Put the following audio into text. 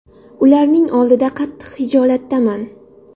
Ularning oldida qattiq xijolatdaman.